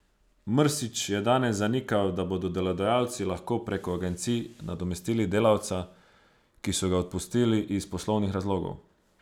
Mrsić je danes zanikal, da bodo delodajalci lahko preko agencij nadomestili delavca, ki so ga odpustili iz poslovnih razlogov.